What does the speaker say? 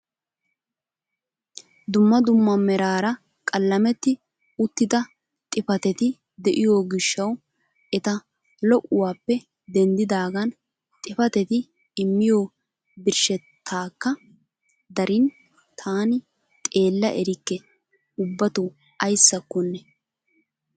Dumma dumma meraara qalametti uttida xifatetti de'iyoo gishshawu eta lo'uwaappe denddidagan xifatetti immiyoo birshshetakka darin taani xeella erikke ubatoo ayssakonne.